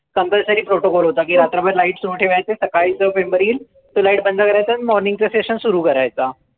Compulsory protocol होता. की रात्रभर lights सुरु ठेवायचे. सकाळी जो member येईल, तो lights बंद करायचा आणि morning चं session सुरु करायचा.